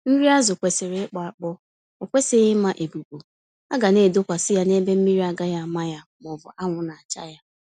Nri azụ kwesịrị ịkpọ-akpọ, okwesịghị ịma-ebubu, aga naedosa ya ebe mmiri naagaghị àmà ya mọbụ anwụ nacha ya.